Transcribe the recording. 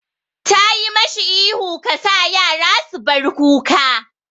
Tayi mashi ihu 'Ka sa yaran su bar kuka'!